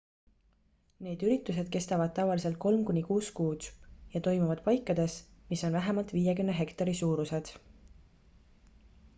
need üritused kestavad tavaliselt kolm kuni kuus kuud ja toimuvad paikades mis on vähemalt 50 hektari suurused